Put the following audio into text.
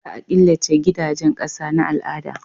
Za a killace gidajen ƙasa na al'ada